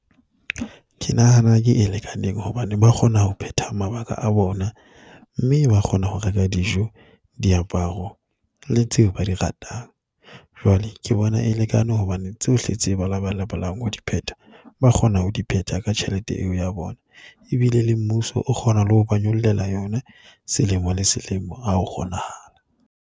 Ke nahana ke e lekaneng hobane ba kgona ho phetha mabaka a bona mme ba kgona ho reka dijo, diaparo le tseo ba di ratang. Jwale ke bona e lekane hobane tsohle tse ba labalabelang ho di pheta ba kgona ho di pheta ka tjhelete eo ya bona Ebile le mmuso o kgona le ho ba nyollela yona selemo le selemo ha ho kgonahala.